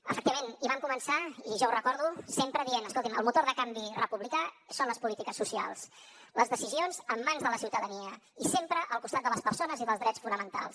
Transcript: efectivament i vam començar i jo ho recordo sempre dient escoltin el motor de canvi republicà són les polítiques socials les decisions en mans de la ciutadania i sempre al costat de les persones i dels drets fonamentals